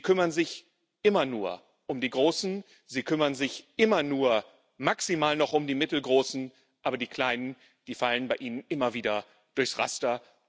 Sie kümmern sich immer nur um die Großen, Sie kümmern sich immer nur maximal noch um die Mittelgroßen, aber die Kleinen, die fallen bei Ihnen immer wieder durchs Raster.